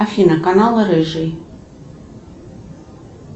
афина канал рыжий